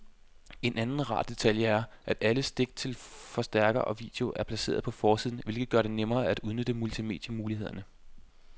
En anden rar detalje er, at alle stik til forstærker og video er placeret på forsiden, hvilket gør det nemmere at udnytte multimedie-mulighederne.